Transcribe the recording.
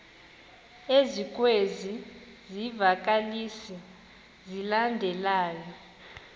ezikwezi zivakalisi zilandelayo